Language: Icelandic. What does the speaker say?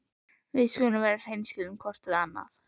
Við skulum vera hreinskilin hvort við annað.